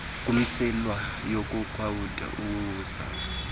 kumiselwe yikhowudi iwuse